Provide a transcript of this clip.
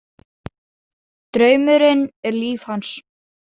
Draumurinn er líf hans.